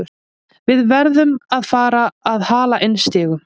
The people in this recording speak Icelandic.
Við verðum að fara að hala inn stigum.